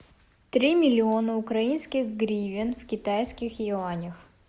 три миллиона украинских гривен в китайских юанях